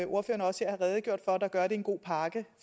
ordførerne også har redegjort for der gør at det er en god pakke